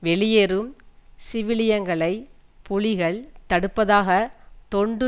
வெளியேறும் சிவிலியன்களை புலிகள் தடுப்பதாக தொண்டு